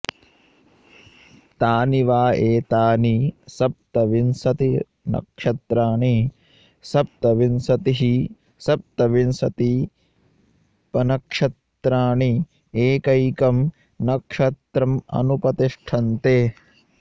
तानि वा एतानि सप्तविंशतिर्नक्षत्राणि सप्तविंशतिः सप्तविंशतिपनक्षत्राणि एकैकं नक्षत्रमनुपतिष्ठन्ते